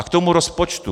A k tomu rozpočtu.